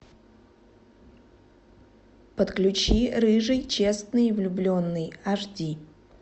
подключи рыжий честный влюбленный аш ди